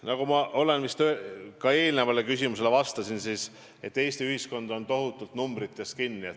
Nagu ma eelmisele küsimusele vastates märkisin, Eesti ühiskond on tohutult numbrites kinni.